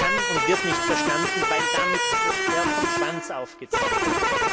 Das kann und wird nicht verstanden werden, weil damit das Pferd vom Schwanz aufgezäumt wird.